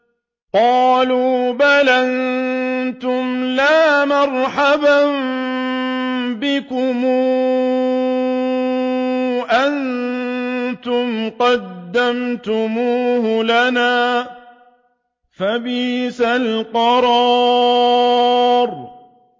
قَالُوا بَلْ أَنتُمْ لَا مَرْحَبًا بِكُمْ ۖ أَنتُمْ قَدَّمْتُمُوهُ لَنَا ۖ فَبِئْسَ الْقَرَارُ